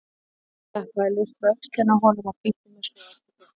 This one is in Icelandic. Ég klappaði laust á öxlina á honum og flýtti mér svo á eftir krökkunum.